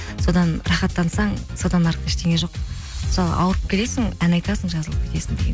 содан рахаттансаң содан артық ештеңе жоқ мысалы ауырып келесің ән айтасың жазылып кетесің